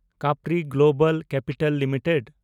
Capri global capital limited